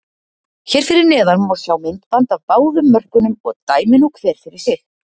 Hér fyrir neðan má sjá myndband af báðum mörkunum og dæmi nú hver fyrir sig.